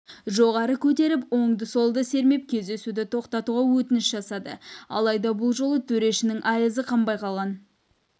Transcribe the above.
жоғары көтеріп оңды-солды сермеп кездесуді тоқтатуға өтініш жасады алайда бұл жолы төрешінің айызы қанбай қалған